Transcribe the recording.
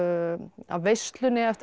af veislunni eftir að